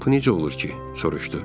Bu necə olur ki, soruşdu.